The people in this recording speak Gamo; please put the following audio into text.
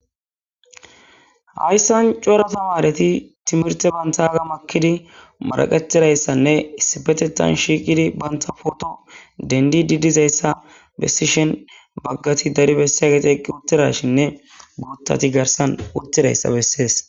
Hayisani cora tamareti timirite bagga ekkidi maraqetidayitinne issippeteththani shiqiddi banitappe photo denididi dizayisa besishshin bagati dari besyageti eqi uttidashinne guththati garisani utidayisa beesesi